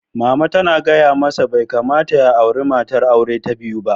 Mama ta gaya masa "Bai kamata ya auri matar aure ta biyu ba!"